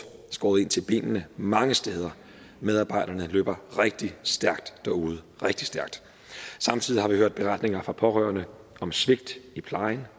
skåret ind til benet mange steder medarbejderne løber rigtig stærkt derude rigtig stærkt samtidig har vi hørt beretninger fra pårørende om svigt i plejen